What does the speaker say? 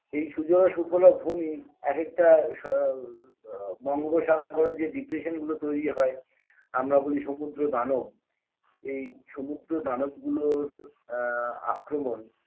এই সুজলা সুফলা ভূমি এক একটা স আ বঙ্গোপসাগরে যে depression গুলো তৈরি হয় আমরা বলি সমুদ্র দানব এই সমুদ্র দানব গুলোর আ আক্রমণ